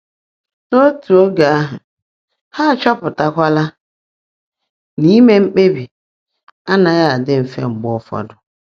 N’otu oge ahụ, ha achọpụtala na ime mkpebi anaghị adị mfe mgbe ụfọdụ.